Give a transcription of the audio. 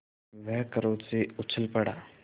वह क्रोध से उछल पड़ा